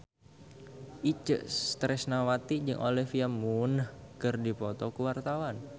Itje Tresnawati jeung Olivia Munn keur dipoto ku wartawan